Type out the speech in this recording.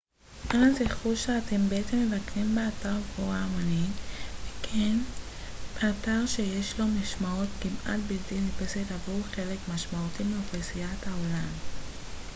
אנא זכרו שאתם בעצם מבקרים באתר קבורה המונית וכן באתר שיש לו משמעות כמעט בלתי נתפסת עבור חלק משמעותי מאוכלוסיית העולם